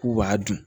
K'u b'a dun